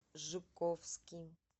жуковский